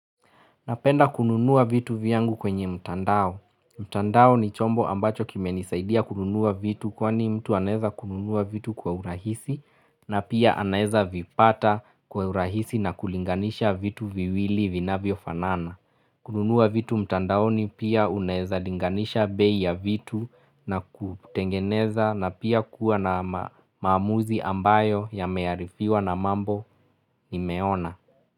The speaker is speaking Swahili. Napenda kununua vitu vyangu kwenye mtandao. Mtandao ni chombo ambacho kime nisaidia kununua vitu kwa ni mtu anaweza kununua vitu kwa urahisi na pia anaweza vipata kwa urahisi na kulinganisha vitu viwili vinavyo fanana. Kununua vitu mtandao ni pia uneza linganisha bei ya vitu na kutengeneza na pia kuwa na maamuzi ambayo yamearifiwa na mambo nimeona.